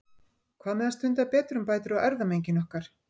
Hvað með að stunda betrumbætur á erfðamenginu okkar?